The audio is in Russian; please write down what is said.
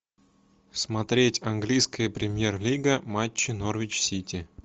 смотреть английская премьер лига матчи норвич сити